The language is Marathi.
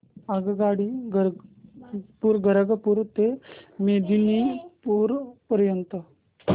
आगगाडी खरगपुर ते मेदिनीपुर पर्यंत